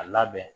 A labɛn